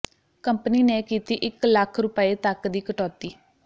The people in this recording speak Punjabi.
ਕੰਪਨੀ ਨੇ ਕੀਤੀ ਇਕ ਲੱਖ ਰੁਪਏ ਤਕ ਦੀ ਕਟੌਤੀ